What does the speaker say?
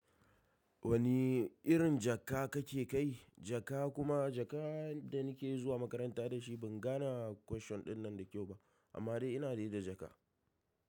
Wani irin jaka kake kai jaka? Kuma jaka da nike zuwa makaranta dashi, ban gane question ɗinnan da kyau ba amma dai ina dai da jaka.